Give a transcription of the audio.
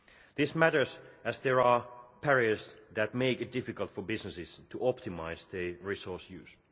This matters because there are barriers that make it difficult for businesses to optimise the resources used.